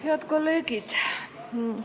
Head kolleegid!